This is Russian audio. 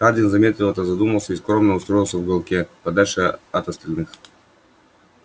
хардин заметил это задумался и скромно устроился в уголке подальше от остальных